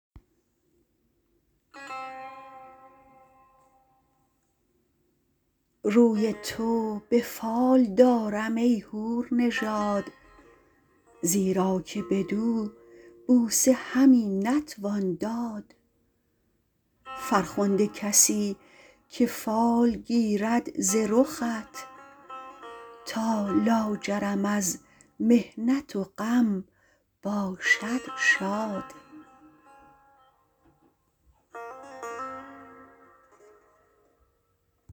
روی تو به فال دارم ای حور نژاد زیرا که بدو بوسه همی نتوان داد فرخنده کسی که فال گیرد ز رخت تا لاجرم از محنت و غم باشد شاد